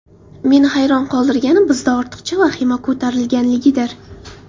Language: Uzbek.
Meni hayron qoldirgani bizda ortiqcha vahima ko‘tarilganligidir.